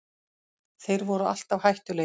Þeir voru alltaf hættulegir